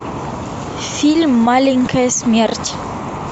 фильм маленькая смерть